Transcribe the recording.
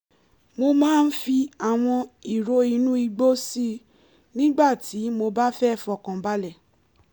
mo máa ń fi àwọn ìró inú igbó si nígbà tí mo bá fẹ́ fọkànbalẹ̀